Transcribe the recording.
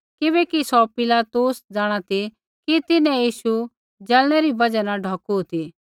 किबैकि सौ पिलातुस जाँणा ती कि तिन्हैं यीशु जलनै री बजहा न ढौकू ती